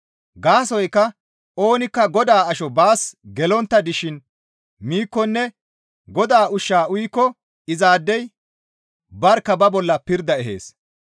Gaasoykka oonikka Godaa asho baas gelontta dishin miikkonne Godaa ushshaa uyikko izaadey barkka ba bolla pirda ehees.